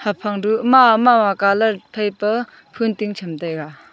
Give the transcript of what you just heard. haphang duh mama mama colour phai pe ful ting cham taiga.